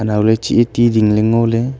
anau ley cheh ae ti ling ley ngo ley.